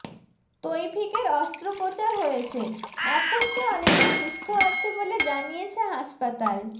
তৌফিকের অস্ত্রোপচার হয়েছে এখন সে অনেকটা সুস্থ বলে জানিয়েছে হাসপাতাল